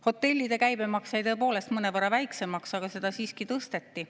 Hotellide käibemaks jäi tõepoolest mõnevõrra väiksemaks, aga seda siiski tõsteti.